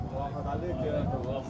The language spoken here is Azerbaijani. Allah eləsin, ayə, qoy, sağ ol!